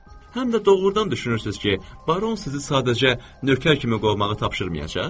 Həm də doğrudan düşünürsünüz ki, baron sizi sadəcə nökər kimi qovmağı tapşırmayacaq?